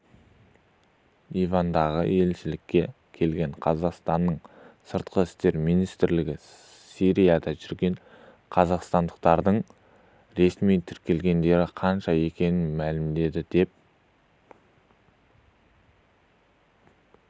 ливандағы елшілікке келген қазақстанның сыртқы істер министрлігі сирияда жүрген қазақстандықтардың ресми тіркелгендері қанша екенін мәлімдеді деп